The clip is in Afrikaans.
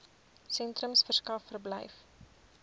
sentrums verskaf verblyf